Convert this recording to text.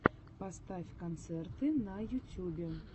поставь концерты на ютюбе